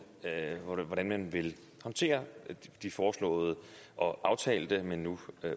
hvordan man vil håndtere de foreslåede og aftalte men nu